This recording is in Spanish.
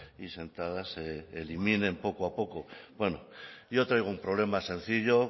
y sentadas se eliminen poco a poco bueno traigo un problema sencillo